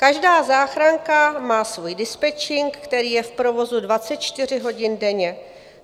Každá záchranka má svůj dispečink, který je v provozu 24 hodin denně.